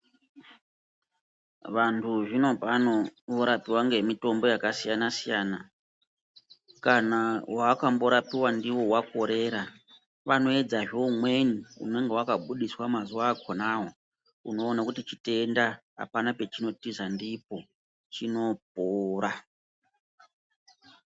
Vanhu zvinopano vanorapiwa ngemitombo yakasiyanasiyana kana waakmborapiwa ndiwo wakorera vanoedza he umweni unoone kuti chitenda apana pachino tiza ndipo chinopora.